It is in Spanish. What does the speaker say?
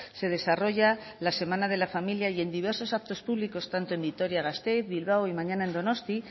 se desarrolla la semana de la familia y en diversos actos públicos tanto en vitoria gasteiz bilbao y mañana en donosti